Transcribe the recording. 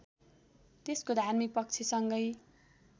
त्यसको धार्मिक पक्षसँगै